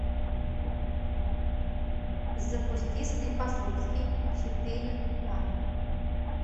запусти склифосовский четыре ка